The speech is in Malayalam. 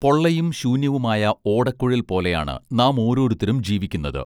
പൊള്ളയും ശൂന്യവുമായ ഓടക്കുഴൽ പോലെയാണ് നാം ഓരോരുത്തരും ജീവിക്കുന്നത്